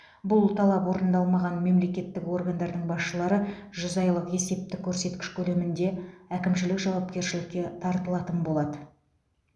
бұл талап орындалмаған мемлекеттік органдардың басшылары жүз айлық есептік көрсеткіш көлемінде әкімшілік жауапкершілікке тартылатын болады